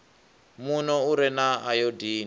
muno u re na ayodini